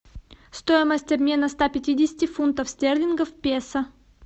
стоимость обмена ста пятидесяти фунтов стерлингов в песо